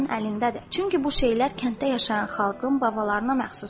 Çünki bu şeylər kənddə yaşayan xalqın babalarına məxsusdur.